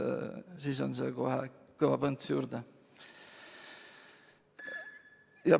Siis annab viirus kohe kõva põntsu juurde.